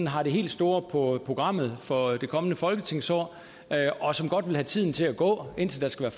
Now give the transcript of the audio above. har det helt store på programmet for det kommende folketingsår og som godt vil have tiden til at gå indtil der skal